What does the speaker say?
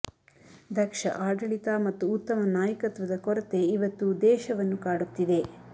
ದಕ್ಷ ಆಡಳಿತ ಮತ್ತು ಉತ್ತಮ ನಾಯಕತ್ವದ ಕೊರತೆ ಇವತ್ತು ದೇಶವನ್ನು ಕಾಡುತ್ತಿದೆ